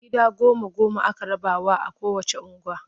Gida goma-goma aka rabawa a kowacce unguwa.